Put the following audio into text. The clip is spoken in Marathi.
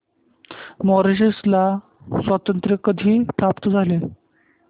मॉरिशस ला स्वातंत्र्य कधी प्राप्त झाले